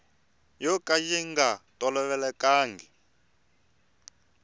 yo ka ya nga tolovelekanga